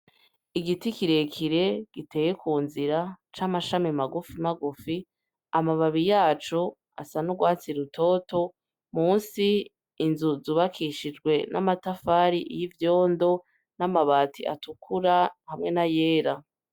Igiti kire kire giteye kunzira c'amashami magufi magufi amababi yaco asa n' ugwatsi rutoto musi inzu zubakishijwe n' amatafari y' ivyondo n' amabati atukura hamwe n' ayera.